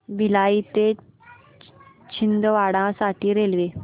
भिलाई ते छिंदवाडा साठी रेल्वे